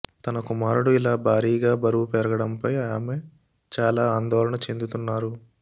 తన కుమారుడు ఇలా భారీగా బరువు పెరగడంపై ఆమె చాలా ఆందోళన చెందుతున్నారు